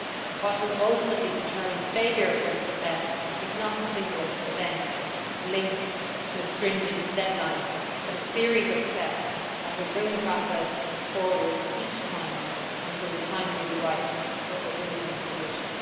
What will ultimately determine failure or success is not a single event linked to a stringent deadline, but a series of steps that will bring the process forward each time until the time will be ripe for a win win' solution.